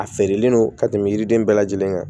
A feerelen don ka tɛmɛ yiriden bɛɛ lajɛlen kan